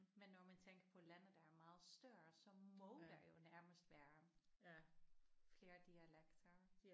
Men når man tænker på lande der er meget større så må der jo nærmest være flere dialekter